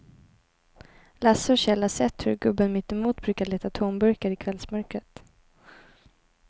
Lasse och Kjell har sett hur gubben mittemot brukar leta tomburkar i kvällsmörkret.